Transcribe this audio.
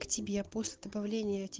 к тебе после добавления